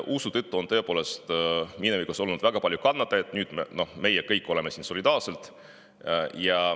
Usu tõttu on minevikus olnud väga palju kannatajaid, meie kõik oleme siin solidaarsed.